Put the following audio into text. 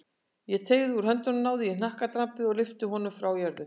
Ég teygði út höndina, náði í hnakkadrambið og lyfti honum frá jörðu.